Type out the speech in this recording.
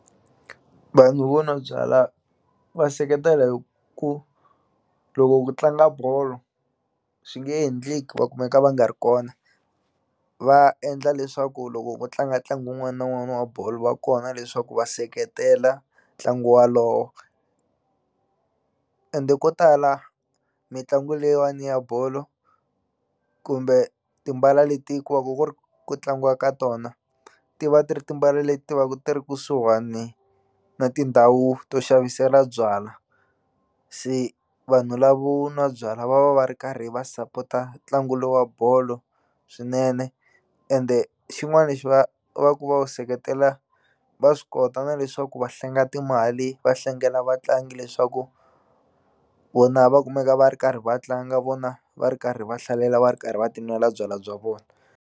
Vanhu vo nwa byalwa va seketela hi ku loko ku tlanga bolo swi nge endleki va kumeka va nga ri kona va endla leswaku loko ku tlanga ntlangu wun'wana na wun'wana wa bolo va kona leswaku va seketela ntlangu walowo ende ko tala mitlangu leyiwani ya bolo kumbe timbala leti ku va ku ri ku tlangiwa ka tona ti va ti ri timbala leti va ku ti ri kusuhani na tindhawu to xavisela byalwa se vanhu lavo nwa byalwa va va va ri karhi va sapota ntlangu lowu wa bolo swinene ende xin'wani xi va va ku va wu seketela va swi kota na leswaku va hlenga timali va hlengela vatlangi leswaku vona va kumeka va ri karhi va tlanga vona va ri karhi va hlalela va ri karhi va tinwela byalwa bya vona.